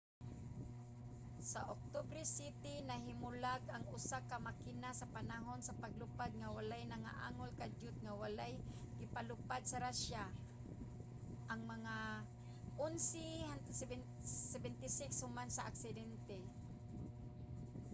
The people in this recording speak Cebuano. sa oktubre 7 nahimulag ang usa ka makina sa panahon sa paglupad nga walay nangaangol. kadiyot nga wala gipalupad sa russia ang mga il-76 human sa aksidente